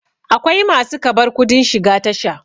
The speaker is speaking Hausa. akwai masu kabar kudin shiga Tasha